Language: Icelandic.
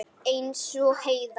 Eins og Heiða.